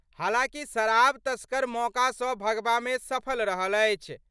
हालांकि शराब तस्कर मौका सं भागबा मे सफल रहल अछि।